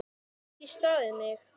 Ég hef ekki staðið mig!